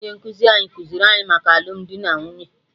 Ụnyaahụ ka onye nkụzi anyị kụziiri anyị maka alụmdi na nwunye